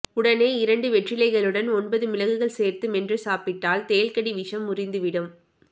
உடனே இரண்டு வெற்றிலைகளுடன் ஒன்பது மிளகுகள் சேர்த்து மென்று சாப்பிட்டால் தேள்கடி விஷம் முறிந்துவிடும்